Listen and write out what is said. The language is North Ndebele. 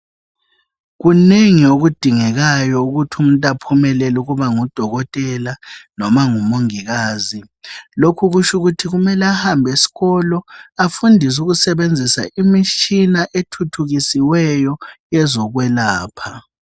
Kunengi okudingekayo ukuthi umuntu aphumelele ukuba ngudokotela, loba ngumongikazi. Lokhu kutsho ukuthi kumele ahambe esikolo, afunde ukusebenzisa imitshina ethuthukisiweyo yezokwelapha.